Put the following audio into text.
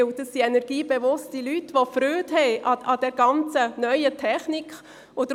Denn das sind energiebewusste Leute, die Freude an der neuen Technik haben.